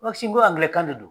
n ko angilɛkan de do.